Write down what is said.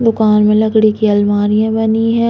दुकान में लकड़ी की अलमारियां बनी है।